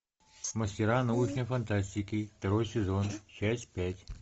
мастера научной фантастики второй сезон часть пять